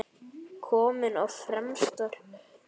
Kominn á fremsta hlunn.